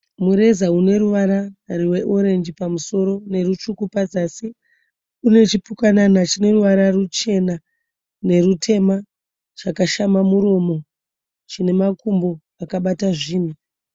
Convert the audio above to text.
Mureza une ruvara rweorenji pamusoro nerutsvuku pazasi. Une chipukanana chine ruvara ruchena nerutema chakashama muromo chine makumbo akabata zvinhu.